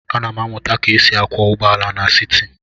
Ana m amụta ka e si akwọ ụgbọala n'siti.